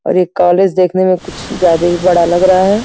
और ये कॉलेज देखने में कुछ ज्यादा ही बड़ा लग रहा है ।